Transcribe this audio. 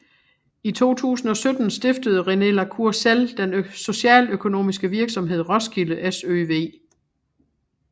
I 2017 stiftede René la Cour Sell den socialøkonomiske virksomhed Roskilde SØV